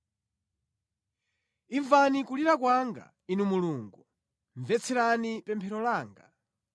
Imvani kulira kwanga, Inu Mulungu; mvetserani pemphero langa.